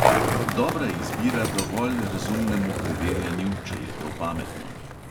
Dobra izbira dovolj razumnemu preverjanju, če je to pametno.